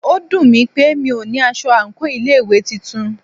Ó dùnmí pé mí o ní aṣọ àńkò ilé ìwé titun.